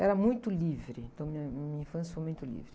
Era muito livre, então minha, minha infância foi muito livre.